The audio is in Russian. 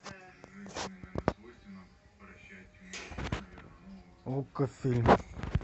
окко фильм